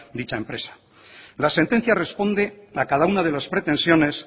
dicha empresa la sentencia responde a cada una de las pretensiones